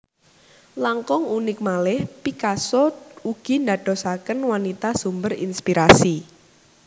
Langkung unik malih Picasso ugi ndadosaken wanita sumber inspirasi